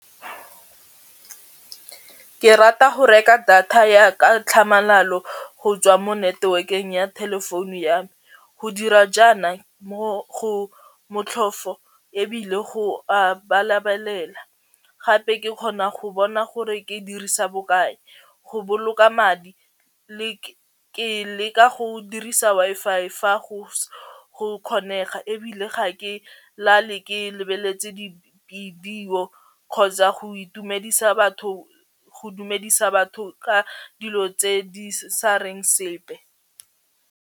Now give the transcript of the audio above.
Ke rata go reka data ya ka tlhamalalo go tswa mo network-eng ya telephone ya me, go dira jaana mo motlhofo ebile go a balabalela gape ke ka kgona go bona gore ke dirisa bokae go boloka madi le ke leka go dirisa Wi-Fi fa go kgonega ebile ga ke e lale ke lebeletse dibidio kgotsa go itumedisa batho go dumedisa batho ka dilo tse di sa reng sepe.